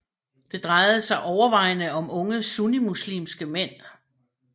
Det drejede sig overvejende om unge sunnimuslimske mænd